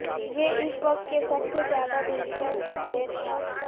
یہ اس وقت کے سب سے زیادہ دلچسپ ہے تھا